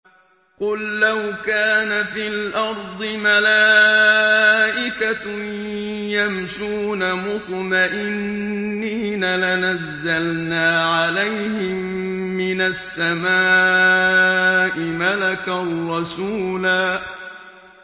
قُل لَّوْ كَانَ فِي الْأَرْضِ مَلَائِكَةٌ يَمْشُونَ مُطْمَئِنِّينَ لَنَزَّلْنَا عَلَيْهِم مِّنَ السَّمَاءِ مَلَكًا رَّسُولًا